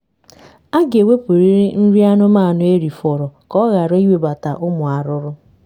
aga ewepurịrị nri anụmanụ erifọrọ ka ọ ghara ịnwebata ụmụ arụrụ